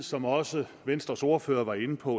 som også venstres ordfører var inde på